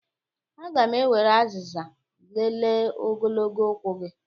Aga m ewere azịza lelee ogologo ụkwụ gị